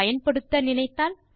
பயன்படுத்த நினைத்தால்